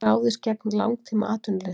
Ráðist gegn langtímaatvinnuleysi